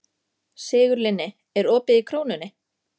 Sigurlinni, er opið í Krónunni?